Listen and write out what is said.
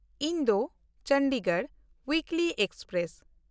ᱤᱱᱫᱳ-ᱪᱚᱱᱰᱤᱜᱚᱲ weekly express